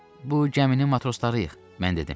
Bu gəminin matroslarıyıq, mən dedim.